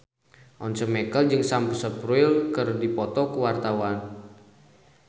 Once Mekel jeung Sam Spruell keur dipoto ku wartawan